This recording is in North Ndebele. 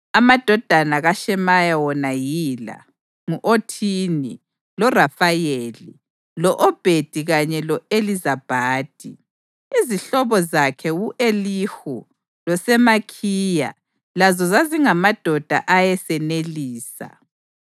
Amadodana kaShemaya wona yila: ngu-Othini, loRafayeli, lo-Obhedi kanye lo-Elizabhadi; izihlobo zakhe u-Elihu loSemakhiya lazo zazingamadoda ayesenelisa.